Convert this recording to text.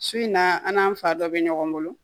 Su in na an fa dɔ bɛ ɲɔgɔn bolo